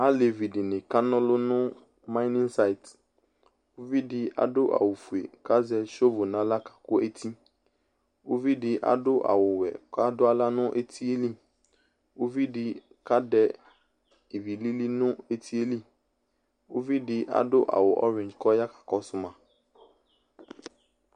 Alevi dɩnɩ ka ɔlʋ nʋ mayinin sayɩt Uvi dɩ adʋ awʋfue kʋ azɛ sovu nʋ aɣla kakʋ eti Uvi dɩ adʋ awʋwɛ kʋ adʋ aɣla nʋ eti yɛ li Uvi dɩ kadɛ ivi lili nʋ eti yɛ li Uvi dɩ adʋ ɔvɩdz kʋ ɔya kakɔsʋ ma